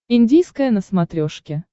индийское на смотрешке